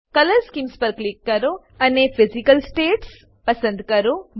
colour schemes પર click કરો અને ફિઝિકલ સ્ટેટ્સ પસંદ કરો